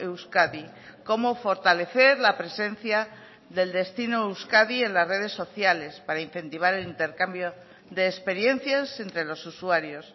euskadi cómo fortalecer la presencia del destino euskadi en las redes sociales para incentivar el intercambio de experiencias entre los usuarios